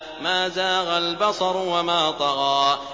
مَا زَاغَ الْبَصَرُ وَمَا طَغَىٰ